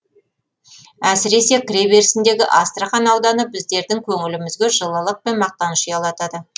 әсіресе кіреберісіндегі астрахань ауданы біздердің көңілімізге жылылық пен мақтаныш ұялатады